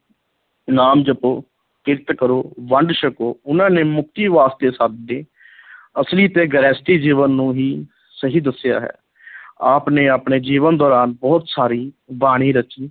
ਨਾਮ ਜਪੋ, ਕਿਰਤ ਕਰੋ, ਵੰਡ ਛਕੋ, ਉਨ੍ਹਾਂ ਨੇ ਮੁਕਤੀ ਵਾਸਤੇ ਸਾਦੇ ਅਸਲੀ ਤੇ ਗ੍ਰਹਿਸਥੀ ਜੀਵਨ ਨੂੰ ਹੀ ਸਹੀ ਦੱਸਿਆ ਹੈ ਆਪ ਨੇ ਆਪਣੇ ਜੀਵਨ ਦੌਰਾਨ ਬਹੁਤ ਸਾਰੀ ਬਾਣੀ ਰਚੀ।